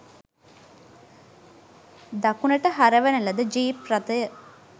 දකුණට හරවන ලද ජීප් රථය